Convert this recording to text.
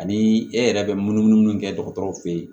Ani e yɛrɛ bɛ munumunu mun kɛ dɔgɔtɔrɔw fɛ yen